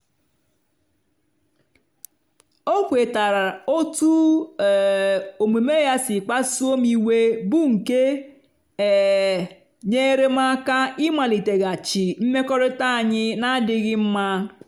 o kwetara otú um omume ya si kpasuo m iwe bụ́ nke um nyeere m aka ịmaliteghachi mmekọrịta anyị na-adịghị mma.